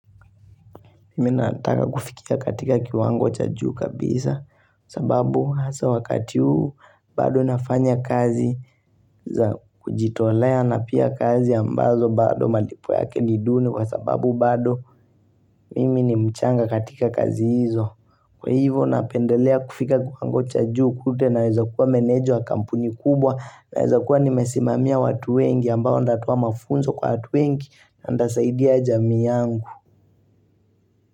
Mimi nataka kufikia katika kiwango cha juu kabisa sababu hasa wakati huu bado nafanya kazi za kujitolea na pia kazi ambazo bado malipo yake ni duni kwa sababu bado mimi ni mchanga katika kazi hizo. Kwa hivyo napendelea kufika kiwango cha juu kule naweza kuwa maneja wa kampuni kubwa naweza kuwa nimesimamia watu wengi ambao ndatoa mafunzo kwa watu wengi na ndasaidia jamii yangu.